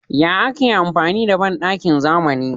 Yaya ake amfani da banɗakin zamani?